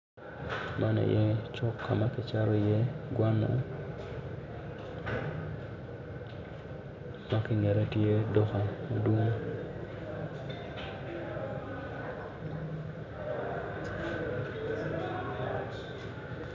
Man aye cuk ka ma kicato iye gwanna dok ki i ngete tye duka madwong.